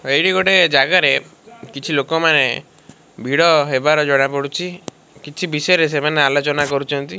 ତ ଏଇଟି ଗୋଟେ ଜାଗାରେ କିଛି ଲୋକମାନେ ଭିଡ଼ ହେବାର ଜଣା ପଡୁଛି କିଛି ବିଷୟରେ ସେମାନେ ଆଲୋଚନା କରୁଚନ୍ତି।